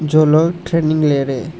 वो लोग ट्रेनिंग ले रहे।